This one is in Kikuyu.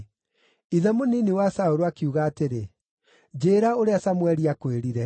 Ithe mũnini wa Saũlũ akiuga atĩrĩ, “Njĩĩra ũrĩa Samũeli aakwĩrire.”